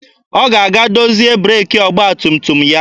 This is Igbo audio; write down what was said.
Ọ ga-aga dozie breeki ọgba tum tum ya.